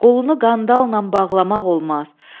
Qolunu qandalla bağlamaq olmaz.